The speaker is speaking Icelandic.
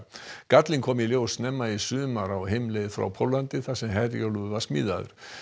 gallinn kom í ljós snemma í sumar á heimleið frá Póllandi þar sem Herjólfur var smíðaður